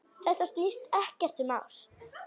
Þetta snýst ekkert um ást.